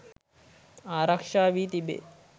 ආරක්ෂා වී තිබේ.